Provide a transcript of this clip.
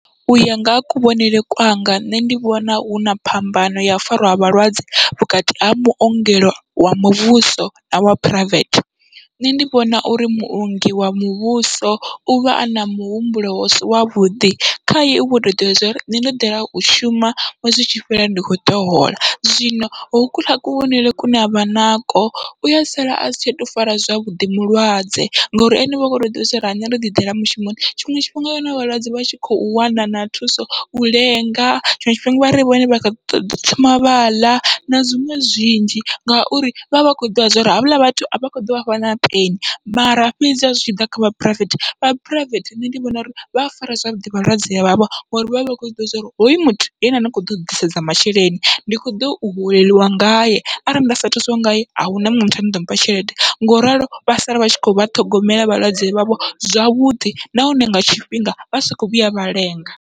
Uya nga ha kuvhonele kwanga nṋe ndi vhona huna phambano yau fara ha vhalwadze vhukati ha maongelo wa muvhuso na wa phuraivethe nṋe ndi vhona uri muongi wa muvhuso uvha ana muhumbulo husi wavhuḓi, khaye uvho to ḓivha zwori nṋe ndo ḓela u shuma ṅwedzi utshi fhela ndi kho ḓo hola, zwino ho kuḽa kuvhonele kune avha nako uya sala asi tsha to fara zwavhuḓi mulwadze, ngori ene uvha kho to ḓivha zwauri nṋe ndo ḓi ḓela mushumoni. Tshiṅwe tshifhinga wa wana vhalwadze vha tshi khou wana na thuso u lenga tshiṅwe tshifhinga vha ri vhone vha khou ṱoḓa u thoma vha ḽa na zwiṅwe zwinzhi, ngauri vhavha vha kho ḓivha zwori havhaḽa vhathu avha kho ḓo vhafha na peni, mara fhedzi ha zwi tshiḓa kha vha phuraivethe vha phuraivethe nṋe ndi vhona uri vha fara zwavhuḓi vhalwadze vhavho ngori vhavha vha kho zwiḓivha uri hoyu muthu ndi ene ane a kho ḓo ḓisedza masheleni ndi kho ḓo holelwa ngaye, arali nda sa thusiwa ngaye ahuna muṅwe muthu ane aḓo mpha tshelede ngauralo vha sala vha tshi khou vha ṱhogomela vhalwadze vhavho zwavhuḓi nahone nga tshifhinga vha sa kho vhuya vha lenga.